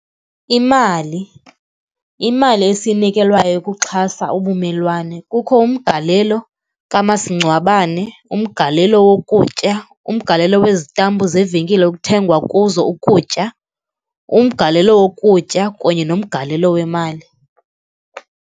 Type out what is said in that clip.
Imali, imali esiyinikelwayo ukuxhasa ubumelwane kukho umgalelo kamasingcwabane, umgalelo wokutya, umgalelo wezitampu zevenkile ekuthengwa kuzo ukutya, umgalelo wokutya kunye nomgalelo wemali.